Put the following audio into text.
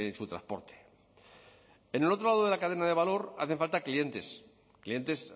su transporte en el otro lado de la cadena de valor hacen falta clientes clientes